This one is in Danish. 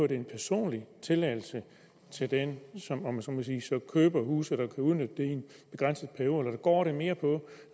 det er en personlig tilladelse til den som køber huset og kan udnytte det i en begrænset periode eller går det mere på